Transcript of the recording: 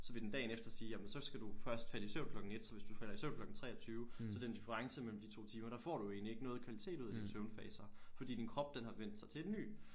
Så vil den dagen efter sige jamen så skal du først have din søvn klokken 1 så hvis du falder i søvn klokken 23 så den difference mellem de 2 timer der får du jo egentlig ikke noget kvalitet ud af de søvnfaser fordi din krop den har vendt sig til en ny